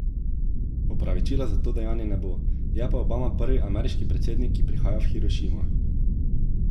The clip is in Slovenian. Opravičila za to dejanje ne bo, je pa Obama prvi ameriški predsednik, ki prihaja v Hirošimo.